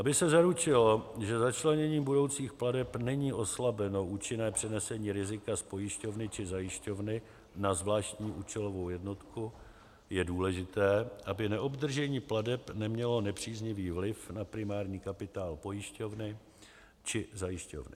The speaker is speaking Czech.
Aby se zaručilo, že začleněním budoucích plateb není oslabeno účinné přenesení rizika z pojišťovny či zajišťovny na zvláštní účelovou jednotku, je důležité, aby neobdržení plateb nemělo nepříznivý vliv na primární kapitál pojišťovny nebo zajišťovny.